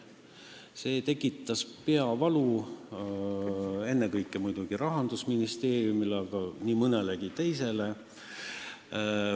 See tekitas peavalu ennekõike muidugi Rahandusministeeriumile, aga nii mõnelegi teisele.